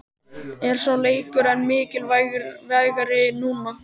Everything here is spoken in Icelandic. Er sá leikur enn mikilvægari núna?